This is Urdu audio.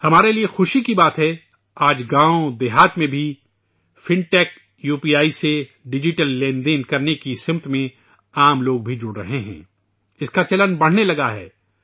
یہ ہمارے لیے خوشی کی بات ہے کہ آج گاؤں دیہات میں بھی fintech U P I کے ذریعہ ڈیجیٹل لین دین کرنے کی سمت میں عام انسان بھی شامل ہو رہے ہیں ، اس کا رجحان بڑھنے لگا ہے